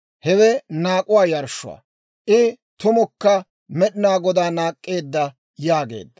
Hewe naak'uwaa yarshshuwaa. I tumukka Med'inaa Godaa naak'k'eedda» yaageedda.